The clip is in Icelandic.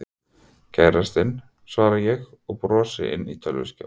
Kærastinn. svara ég og brosi inn í tölvuskjáinn.